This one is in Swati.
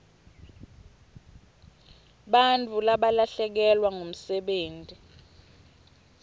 bantfu balahlekelwa ngumsebenti